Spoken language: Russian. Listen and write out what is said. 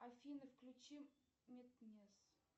афина включи метнес